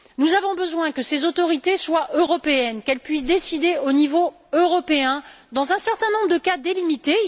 Nous avons besoin que ces autorités soient européennes, qu'elles puissent décider, au niveau européen, dans un certain nombre de cas délimités.